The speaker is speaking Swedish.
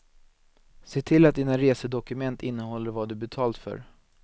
Se till att dina resedokument innehåller vad du betalt för.